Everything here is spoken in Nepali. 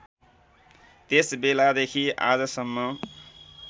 त्यस बेलादेखि आजसम्म